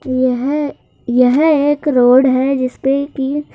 यह यह एक रोड है जिस पे कि--